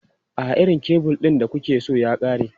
A'a, irin kebul ɗin da kuke so ya ƙare.